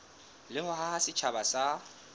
le ho haha setjhaba sa